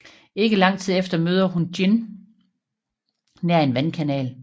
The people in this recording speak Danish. Ikke lang tid efter møder hun Jin nær en vandkanal